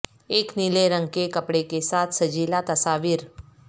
ایک نیلے رنگ کے کپڑے کے ساتھ سجیلا تصاویر